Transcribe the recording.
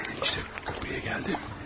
İşte, buraya gəldim.